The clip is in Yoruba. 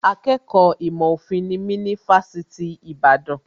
Akẹ́kọ̀ọ́ ìmọ̀ òfin nimí ní Fásitì Ìbàdàn